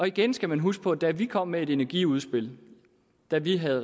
igen skal man huske på at da vi kom med et energiudspil da vi havde